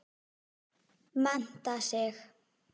Mennta sig.